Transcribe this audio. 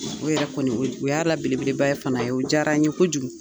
O yɛrɛ kɔni u y'a la belebeleba fana ye o diyara n ye kojugu.